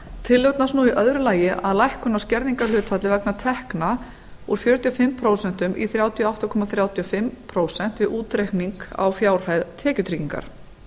tillögurnar snúa í öðru lagi að lækkun á skerðingarhlutfalli vegna tekna úr fjörutíu og fimm prósent í þrjátíu og átta komma þrjátíu og fimm prósent við útreikning á fjárhæð tekjutryggingar